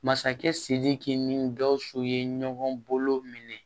Masakɛ sidiki ni gausu ye ɲɔgɔn bolo minɛ